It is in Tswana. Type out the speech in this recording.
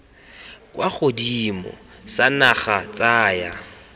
kwa godimo sa naga tsaya